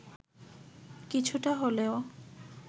কিছুটা হলেও